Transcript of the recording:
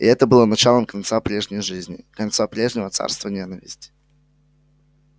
и это было началом конца прежней жизни конца прежнего царства ненависти